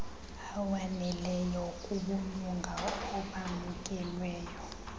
awaneleyo kubulunga obamkelweyo